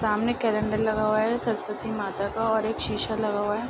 सामने कैलेंडर लगा हुआ है सरस्वती माता का और एक शीशा लगा हुआ है।